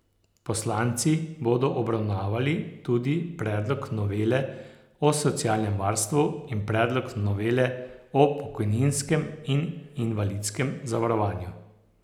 Poslanci bodo obravnavali tudi predlog novele o socialnem varstvu in predlog novele o pokojninskem in invalidskem zavarovanju.